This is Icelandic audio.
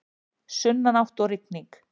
Sunnanátt og rigning